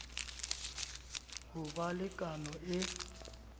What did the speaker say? ho ba le kano e